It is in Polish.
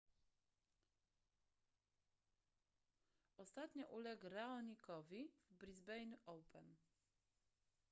ostatnio uległ raonicowi w brisbane open